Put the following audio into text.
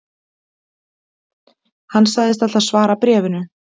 Hann sagðist ætla að svara bréfinu